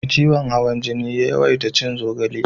Me ciwon hawan jini ya yawaita cin zogale